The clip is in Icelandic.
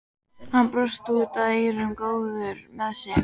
Hann brosti út að eyrum, góður með sig.